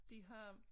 De har